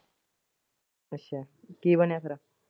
ਅੱਛਾ ਕੀ ਬਣਿਆ ਫੇਰ?